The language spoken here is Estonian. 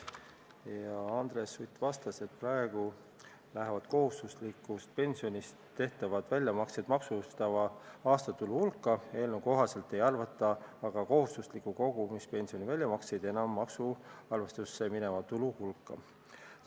Andres Sutt vastas, et praegu lähevad kohustuslikust pensionist tehtavad väljamaksed maksustatava aastatulu hulka, ent eelnõu kohaselt kohustusliku kogumispensioni väljamakseid enam maksuarvestusse mineva tulu hulka ei arvata.